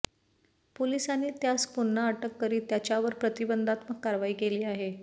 पोलिसांनी त्यास पुन्हा अटक करीत त्याच्यावर प्रतिबंधात्मक कारवाई केली आहे